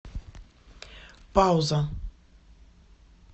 пауза